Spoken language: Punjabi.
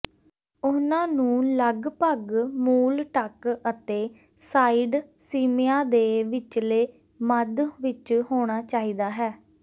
ਉਹਨਾਂ ਨੂੰ ਲਗਪਗ ਮੂਲ ਟੱਕ ਅਤੇ ਸਾਈਡ ਸਿਮਿਆਂ ਦੇ ਵਿਚਲੇ ਮੱਧ ਵਿਚ ਹੋਣਾ ਚਾਹੀਦਾ ਹੈ